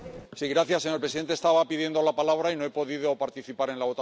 Señor presidente, estaba pidiendo la palabra y no he podido participar en la votación